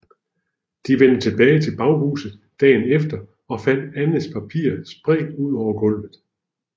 De vendte tilbage til baghuset dagen efter og fandt Annes papirer spredt ud over gulvet